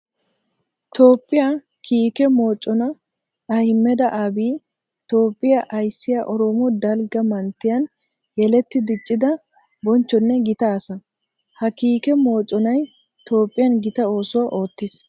Toophphiya kiikke mocona Ahmeda Abiy Toophphiya ayssiya orooma dalgga manttiyan yeletti diccidda bonchchonne gita asaa. Ha kiikke moconay Toophphiyan gita oosuwa ootis.